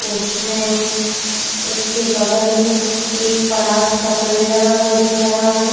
उसमें उसके बगल में एक पलास का पेड़ लगा हुआ दिख रहा है।